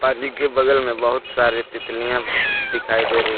के बगल में बहुत सारे तितलियां दिखाई दे रही--